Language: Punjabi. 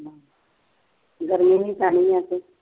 ਗਰਮੀ ਵੀ ਪੈਣੀ ਆ ਹਜੇ